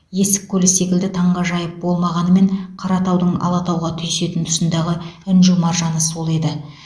есік көлі секілді таңғажайып болмағанымен қаратаудың алатауға түйісетін тұсындағы інжу маржаны сол еді